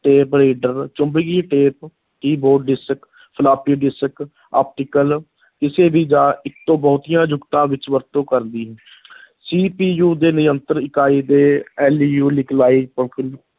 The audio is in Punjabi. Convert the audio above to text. Tape reader ਚੁੰਬਕੀ tap, keyboard, disc, floppy disc, optical ਕਿਸੇ ਵੀ ਜਾਂ ਇੱਕ ਤੋਂ ਬਹੁਤੀਆਂ ਜੁਗਤਾਂ ਵਿੱਚ ਵਰਤੋਂ ਕਰਦੀ CPU ਦੇ-ਨਿਯੰਤਰਨ ਇਕਾਈ LU